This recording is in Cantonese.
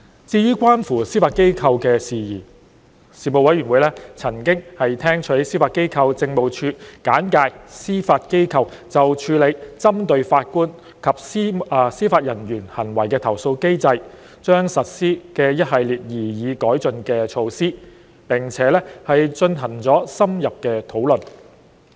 至於關乎司法機構的事宜，事務委員會曾聽取司法機構政務處簡介司法機構就處理針對法官及司法人員行為的投訴機制將實施的一系列擬議改進措施，並進行了深入的討論。